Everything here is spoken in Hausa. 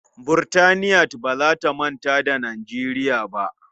Burtaniyat ba za ta manta da Nijeriya ba.